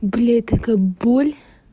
блять такая боль